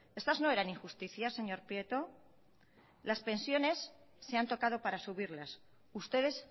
estas no eran injusticias señor prieto las pensiones se han tocado para subirlas ustedes